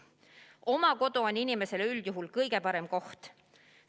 Oma kodu on inimesele üldjuhul kõige parem koht.